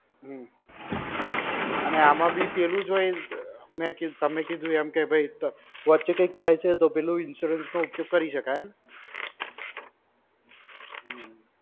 હમ્મ. અને આમ બી પેલું જ હોય, મેં કીધું, તમે કીધું એમ કે ભૈ તો, વચ્ચે કંઈક થાય છે તો insurance નો ઉપયોગ કરી શકાય એમ?